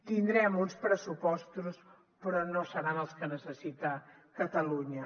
tindrem uns pressupostos però no seran els que necessita catalunya